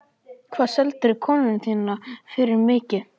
Hvað seldirðu konuna þína fyrir mikið?